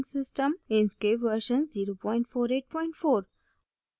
inkscape version 0484